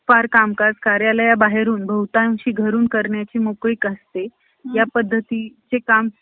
अण्णा एक मुद्दा तळमळ~ तळमळीने मांडत असत. वृद्धाश्रमी जीवन स्त्रियांसाठी तसेच पुरुषांसाठी सर्वोत्तम व इष्ट असते.